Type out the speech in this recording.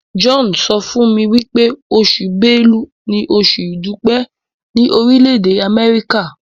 John sọfún mí wípé Oṣù Bélú ní Oṣù idupẹ ni Orile-ede Amẹrika.